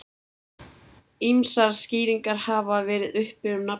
ýmsar skýringar hafa verið uppi um nafnið